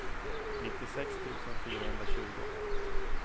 nittiosex tusen fyrahundratjugo